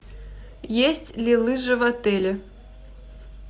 есть ли лыжи в отеле